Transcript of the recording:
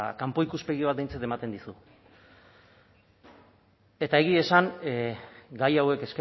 kanpo ikuspegi bat behintzat ematen dizu eta egia esan gai hauek